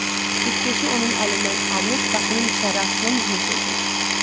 Cütkeşi onun əlindən alıb qapının içəri açılan üzünə söykədi.